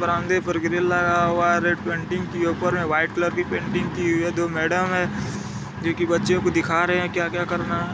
बरामदे पर ग्रिल लगा हुआ है रेड पैंटिंग ऊपर में वाइट कलर की पेंटिंग की दो मैडम है जो की बच्चो को दिखा रहे है क्या क्या करना है।